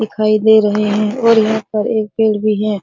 दिखाई दे रहे है और यहाँ पर एक पेड़ भी है |।